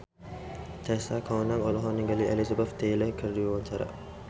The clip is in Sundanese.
Tessa Kaunang olohok ningali Elizabeth Taylor keur diwawancara